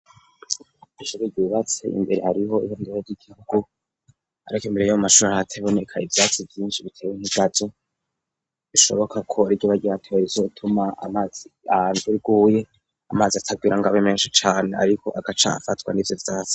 Ishiki ryubatse imbere hariho ihondura ry'igihugu arakemera yo amashuri hateboneka ivyatsi vyinshi, bitewe nkigaje bishoboka korryoba ryatewa rizotuma amazi anjuiguye amazi atagwira ngo abe menshi cane, ariko agacamka afatwa ni vyo vyase.